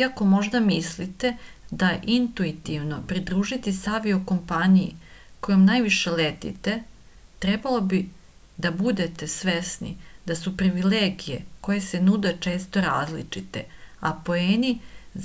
iako možda mislite da je intuitivno pridružiti se avio-kompaniji kojom najviše letite trebalo bi da budete svesni da su privilegije koje se nude često različite a poeni